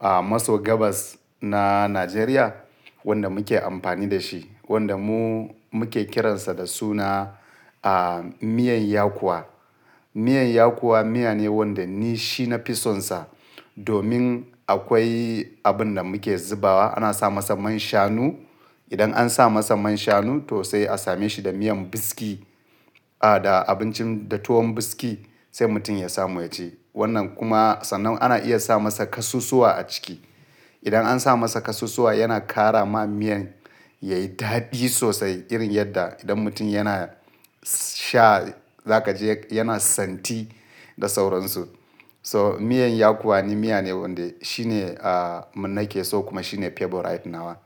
a maso gabas na Najeriya wanda muke amfani da shi, wanda mu muke kiransa da suna a miyan yakowa. Miyan yakowa miya ne wanda ni shi na fisonsa domin akwai abin da muke zubawa. Ana sa masa man shanu. Idan an sa masa man shanu to sai a same shi da miyan biski a da abincin da tuwon biski sai mutum ya samu ya ci. Wannan kuma sannan ana iya sa masa kasusuwa a ciki. Idan an sa masa kasusuwa yana ƙara ma miyan yayi daɗi sosai irin yadda idan mutum yana sha za ka je yana santi da sauransu. So miyan yakowa ne miya ne wanda shi ne a nake so kuma shi ne favorite nawa.